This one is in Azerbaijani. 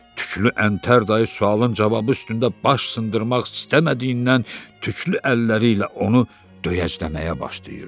Tüklü əntər dayı sualın cavabı üstündə baş sındırmaq istəmədiyindən tüklü əlləri ilə onu döyəcləməyə başlayırdı.